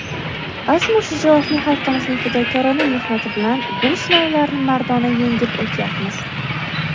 azmu shijoatli xalqimizning fidokorona mehnati bilan bu sinovlarni mardona yengib o‘tyapmiz.